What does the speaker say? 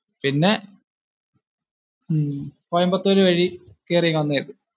പിന്നെ ഉം കോയമ്പത്തൂർ വഴി കേറി ഇങ്ങു വന്നു